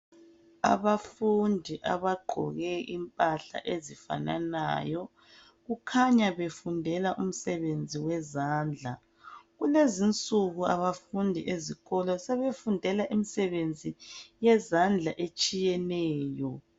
Abafundi abagqoke impahla ezifananayo kukhanya befundela umsebenzi wezandla. Kulezinsuku abafundi ezikolo sebefundela imisebenzi yezandla etshiyeneyo.